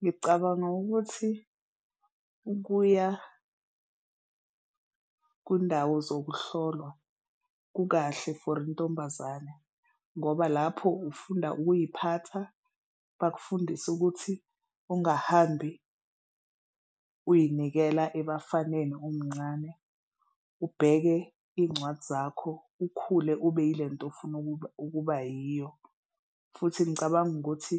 Ngicabanga ukuthi ukuya kundawo zokuhlolwa kukahle for intombazane ngoba lapho ufunda ukuziphatha, bakufundise ukuthi okungahambi uyinikela ebafaneni umncane, ubheke izincwadi zakho, ukhule ube yile nto ofuna ukuba yiyo. Futhi ngicabanga ukuthi